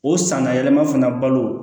O sanga yɛlɛma fana balo